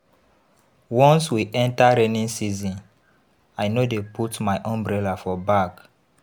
Once we enta rainy season, I no dey put my umbrella for bag.